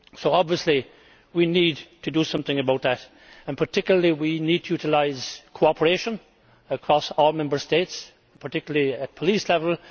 Obviously we need to do something about that. We particularly need to utilise cooperation across all Member States particularly at police level.